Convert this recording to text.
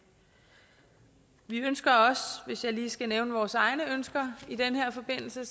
vi ønsker også hvis jeg lige skal nævne vores egne ønsker i den her forbindelse